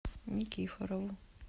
никифорову